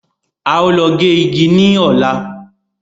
Á ó lọ gé igi ní Ọ̀la.